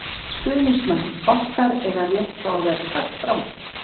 Stuðningsmenn okkar eiga rétt á að vera sagt frá því.